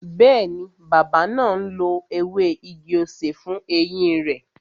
Bẹẹni, bàbá náà ń lo ewé igi-osè fún eyín rẹ